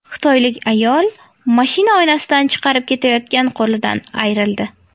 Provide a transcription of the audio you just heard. Xitoylik ayol mashina oynasidan chiqarib ketayotgan qo‘lidan ayrildi.